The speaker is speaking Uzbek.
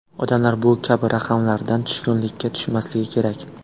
Odamlar bu kabi raqamlardan tushkunlikka tushmasligi kerak.